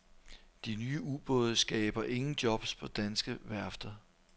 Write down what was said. De nye ubåde skaber ingen jobs på danske værfter.